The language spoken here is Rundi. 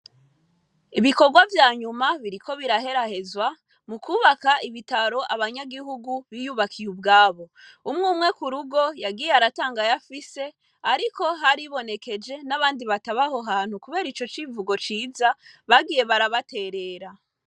Ibikorwa vyanyuma biriko biraherahezwa mu kwubaka ibitaro abanyagihugu biyubakiye ubwabo umwe umwe ku rugo yagiye aratangaye afise, ariko haribonekeje n'abandi batabaho hantu, kubera ico civugo ciza bagiye barabaterera.